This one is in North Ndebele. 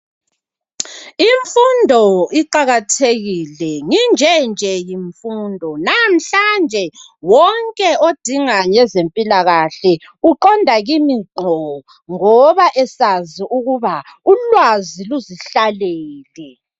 Imfundo iqakathekile nginjenje yimfundo namhlanje wonke odinga ngezempilakahle uqonda kimi ngqo, ngoba esazi ukuba ulwazi luzihlalele.